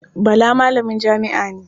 Bala malamin jami'a ne.